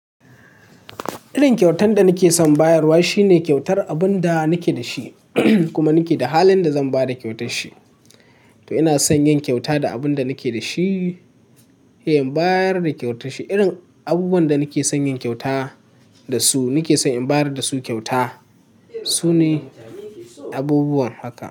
Irin kyautan da nake son bayarwa shine kyautar abun da nake da shi, kuma nake da halin da zan ba da kyautar shi. To ina son yin kyauta da abun da nake da shi, sai in bayar da kyautar shi. Irin abubuwan da nake son yin kyauta da su, nake son in bayar da su kyauta. Su ne abubuwan haka.